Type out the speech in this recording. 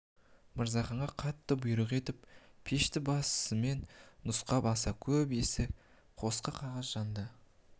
мырзаханға қатты бұйрық етіп пешті басымен нұсқап аса көп ескі қоқсық қағаз жанды